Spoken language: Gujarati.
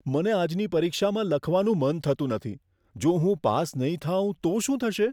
મને આજની પરીક્ષામાં લખવાનું મન થતું નથી. જો હું પાસ નહીં થાઉં તો શું થશે?